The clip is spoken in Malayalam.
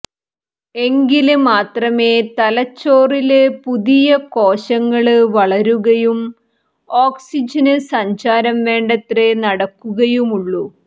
എങ്കില് മാത്രമേ തലച്ചോറില് പുതിയ കോശങ്ങള് വളരുകയും ഓക്സിജന് സഞ്ചാരം വേണ്ടത്ര നടക്കുകയുമുള്ളു